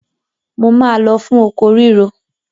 Mo máa lọ fún oko ríro.